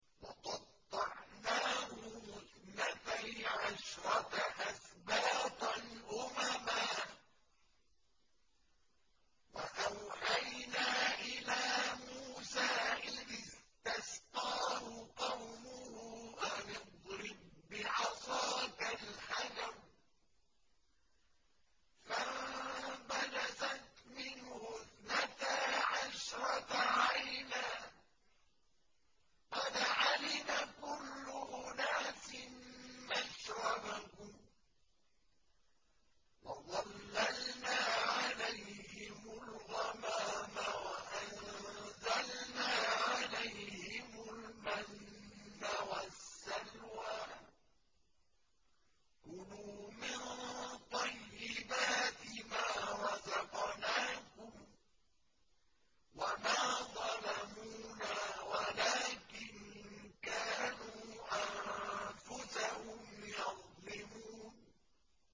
وَقَطَّعْنَاهُمُ اثْنَتَيْ عَشْرَةَ أَسْبَاطًا أُمَمًا ۚ وَأَوْحَيْنَا إِلَىٰ مُوسَىٰ إِذِ اسْتَسْقَاهُ قَوْمُهُ أَنِ اضْرِب بِّعَصَاكَ الْحَجَرَ ۖ فَانبَجَسَتْ مِنْهُ اثْنَتَا عَشْرَةَ عَيْنًا ۖ قَدْ عَلِمَ كُلُّ أُنَاسٍ مَّشْرَبَهُمْ ۚ وَظَلَّلْنَا عَلَيْهِمُ الْغَمَامَ وَأَنزَلْنَا عَلَيْهِمُ الْمَنَّ وَالسَّلْوَىٰ ۖ كُلُوا مِن طَيِّبَاتِ مَا رَزَقْنَاكُمْ ۚ وَمَا ظَلَمُونَا وَلَٰكِن كَانُوا أَنفُسَهُمْ يَظْلِمُونَ